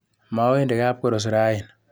Mowendi kapkoros raini.